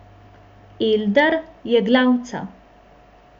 Eldar je glavca.